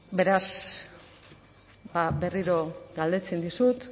beraz berriro galdetzen dizut